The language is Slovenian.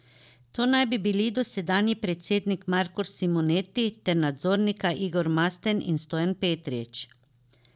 To naj bi bili dosedanji predsednik Marko Simoneti ter nadzornika Igor Masten in Stojan Petrič.